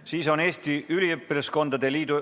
Pärast seda on Eesti Üliõpilaskondade Liidu